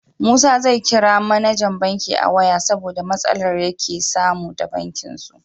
Musa zai kira mAnajan banki a waya saboda matsalar yake samu da bankin su